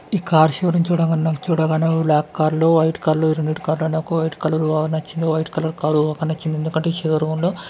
ఈ car showroom చూడంగానే నాకు చూడగానే బ్లాక్ క్రాలు వైట్ క్రాలు రెండిటి కార్లు అనేవి వైట్ కలర్ లో ఉన్నాయ్.